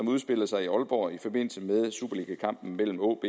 udspillede sig i aalborg i forbindelse med superligakampen mellem aab